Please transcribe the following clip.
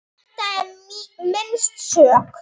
Þetta er minnst sök.